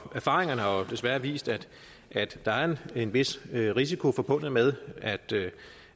erfaringerne har jo desværre vist at der er en vis risiko forbundet med at